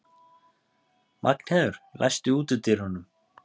Magnheiður, læstu útidyrunum.